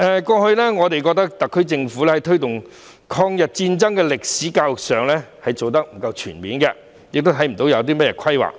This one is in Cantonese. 過去，我們認為特區政府在推動抗日戰爭歷史的教育上做得不全面，亦看不到有何規劃。